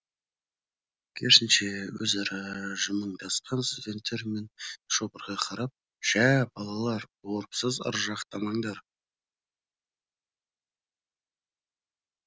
керісінше өзара жымыңдасқан студенттер мен шопырға қарап жә балалар орыпсыз ыржақтамаңдар